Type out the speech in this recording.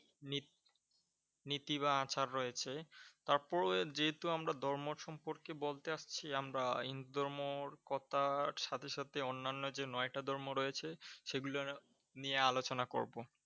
Knee নীতি বা আচার রয়েছে। তারপরে যেহেতু আমরা ধর্ম সম্পর্কে বলতে আসছি আমরা হিন্দু ধর্ম কথার সাথে সাথে অন্য যে নয়টা ধর্ম রয়েছে সেগুলো নিয়ে আলোচনা করবো।